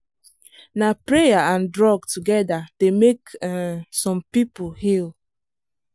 na prayer and drug together dey make um some people heal.